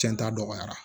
Cɛn ta dɔgɔyara